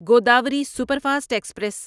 Godavari superfast express